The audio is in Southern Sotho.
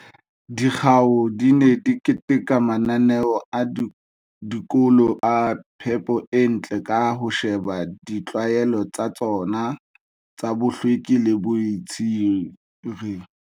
Dikgao di ne di keteka mananeo a dikolo a phepo e ntle ka ho sheba ditlwaelo tsa tsona tsa bohlweki le boitshire